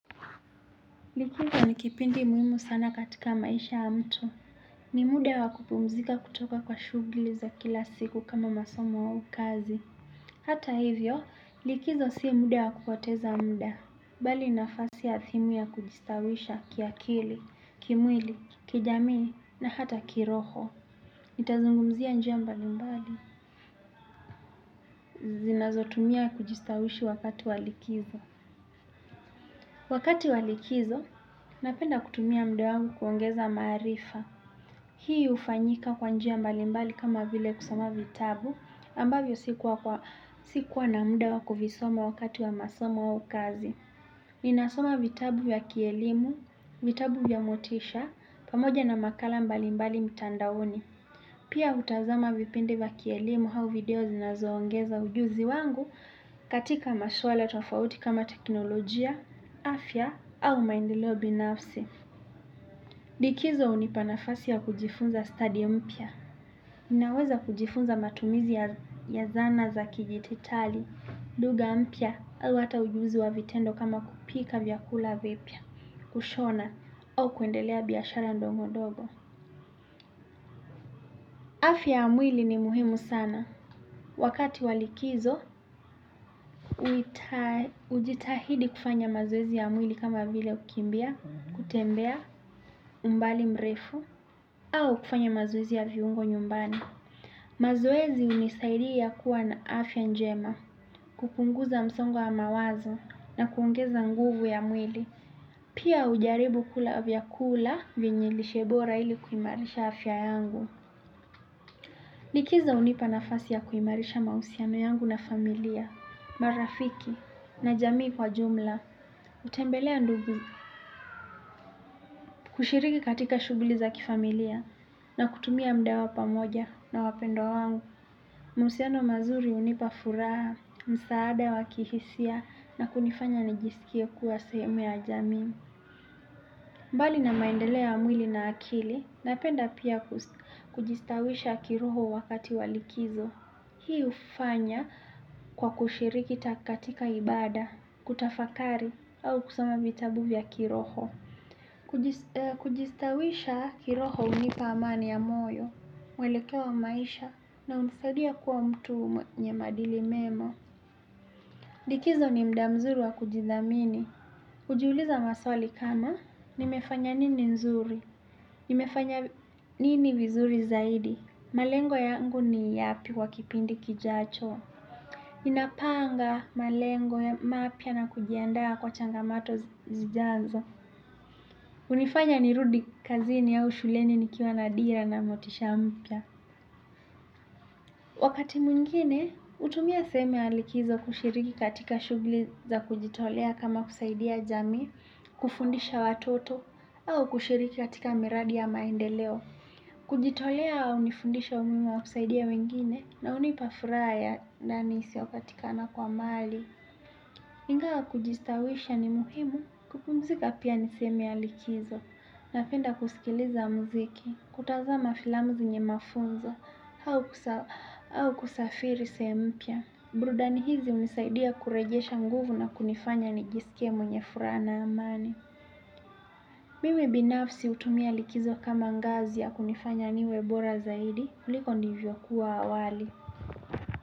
Likizo ni kipindi muhimu sana katika maisha ya mtu. Ni muda wa kupumzika kutoka kwa shughuli za kila siku kama masomo au kazi. Hata hivyo, likizo sio muda wa kupoteza muda. Bali nafasi athimu ya kujistawisha kiakili, kimwili, kijamii na hata kiroho. Nitazungumzia njia mbali mbali. Zinazotumia ya kujistawishi wakati wa likizo. Wakati wa likizo, napenda kutumia muda wangu kuongeza maarifa. Hii hufanyika kwa njia mbali mbali kama vile kusoma vitabu ambavyo sikuwa na muda wa kuvisoma wakati wa masomo au ukazi. Ninasoma vitabu vya kielimu, vitabu vya motisha, pamoja na makala mbali mbali mitandaoni. Pia hutazama vipindi vya kielimu au video zinazoongeza ujuzi wangu katika maswala tofauti kama teknolojia, afya au maendeleo binafsi. Likizo hunipa nafasi ya kujifunza study mpya. Ninaweza kujifunza matumizi ya zana za kijititali, lugha mpya, au hata ujuzi wa vitendo kama kupika vyakula vipya, kushona, au kuendelea biashara ndongo ndogo. Afya ya mwili ni muhimu sana. Wakati wa likizo, ujitahidi kufanya mazoezi ya mwili kama vile kukimbia, kutembea, umbali mrefu, au kufanya mazoezi ya viungo nyumbani. Mazoezi hunisaidia kuwa na afya njema. Kupunguza msongo wa mawazo na kuongeza nguvu ya mwili pia hujaribu kula vyakula vienye lishe bora ili kuimarisha afya yangu. Likizo hunipa nafasi ya kuimarisha mahusiano yangu na familia marafiki na jamii kwa jumla kutembelea ndugu kushiriki katika shughuli za kifamilia na kutumia muda wa pamoja na wapendwa wangu mahusiano mazuri hunipa furaha, msaada wa kihisia na kunifanya nijisikie kuwa sehemu ya jamii. Bali na maendeleo ya mwili na akili, napenda pia kujistawisha kiroho wakati wa likizo. Hii hufanya kwa kushiriki katika ibada, kutafakari au kusoma vitabu vya kiroho. Kujistawisha kiroho hunipa amani ya moyo. Mwelekeo wa maisha na hunisadia kuwa mtu mwenye maadili mema. Likizo ni muda nzuru wa kujidhamini. Nimejiuliza maswali kama nimefanya nini nzuri. Nimefanya nini vizuri zaidi. Malengo yangu ni yapi kwa kipindi kijacho. Ninapanga malengo ya mapya na kujiandaa kwa changamoto zijazo. Hunifanya nirudi kazini au shuleni nikiwa na dira na motisha mpya. Wakati mwingine, hutumia sehemu ya likizo kushiriki katika shughuli za kujitolea kama kusaidia jamii, kufundisha watoto, au kushiriki katika miradi ya maendeleo. Kujitolea hunifundisha umuhimu wa kusaidia wengine na hunipa furaha ya ndani isiyopatikana kwa mali. Ingawa kujistawisha ni muhimu kupumzika pia ni sehemu ya likizo, napenda kusikiliza muziki, kutazama filamu zenye mafunzo, au kusafiri sehemu mpya. Burudani hizi hunisaidia kurejesha nguvu na kunifanya nijisikie mwenye furaha na amani. Mimi binafsi hutumia likizo kama ngazi ya kunifanya niwe bora zaidi, kuliko nilivyokuwa awali.